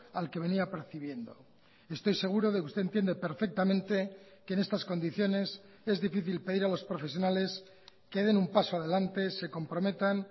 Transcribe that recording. al que venía percibiendo estoy seguro de que usted entiende perfectamente que en estas condiciones es difícil pedir a los profesionales que den un paso adelante se comprometan